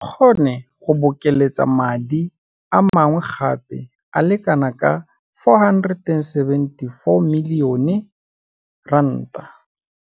E kgone go bokeletsa madi a mangwe gape a le kanaka R474 milione.